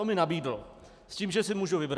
To mi nabídl s tím, že si můžu vybrat.